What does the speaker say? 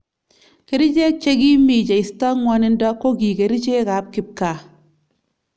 Kericheek che kimii cheistoi ngwanindo koki kerchek ab kipkaa